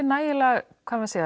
nægilega